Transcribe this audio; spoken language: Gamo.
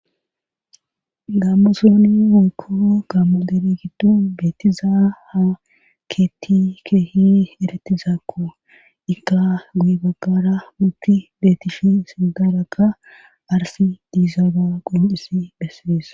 Gammosooni woykko gammo deri giddo beetizaa ha keeththi keehi eretizakko. Ika guye baggara ubbi beetishi sintharakka arsi diizaa be'ashe qoniccissi bessees.